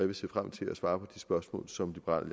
vil se frem til at svare på de spørgsmål som liberal